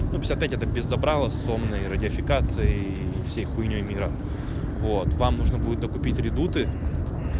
ну пятьдесят пять это без забрала с сонной радиофикацией и всей хуйнёй мира вот вам нужно будет докупить редуты